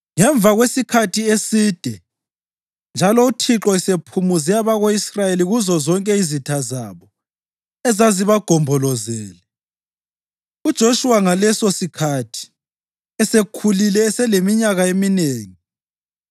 Ngemva kwesikhathi eside njalo uThixo esephumuze abako-Israyeli kuzozonke izitha zabo ezazibagombolozele, uJoshuwa ngalesosikhathi esekhulile eseleminyaka eminengi,